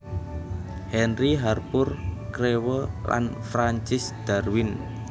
Henry Harpur Crewe lan Francis Darwin